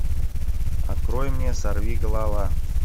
открой мне сорвиголова